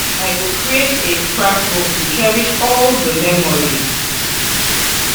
I go create a scrapbook to cherish all di memories.